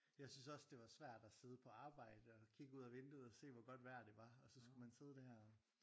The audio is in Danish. Jeg synes også det var svært at sidde på arbejde og kigge ud af vinduet og se hvor godt vejr det var og så skulle man sidde der og